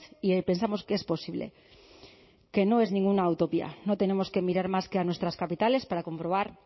y pensamos que es posible que no es ninguna utopía no tenemos que mirar más que a nuestras capitales para comprobar